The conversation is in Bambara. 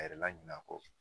A yɛrɛ laɲin'a kɔ